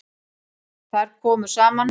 Þar komu saman